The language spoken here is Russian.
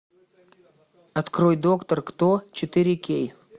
открой доктор кто четыре кей